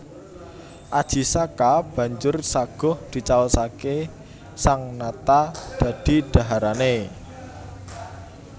Aji Saka banjur saguh dicaosaké sang nata dadi dhaharané